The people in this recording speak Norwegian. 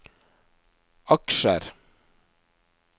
aksjer